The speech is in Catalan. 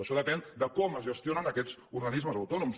això depèn de com es gestionen aquests organismes autònoms